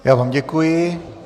Já vám děkuji.